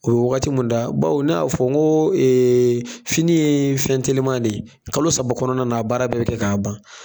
O wagati mun da baw ne y'a fɔ n ko eee fini ye fɛn telima de ye kalo saba kɔnɔna na la a baara bɛ bi kɛ k'a ban